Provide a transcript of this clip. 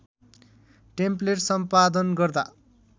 template सम्पादन गर्दा